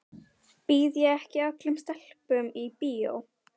Býð ég ekki öllum stelpum í bíó?